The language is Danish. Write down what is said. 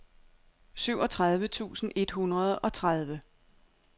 syvogtredive tusind et hundrede og tredive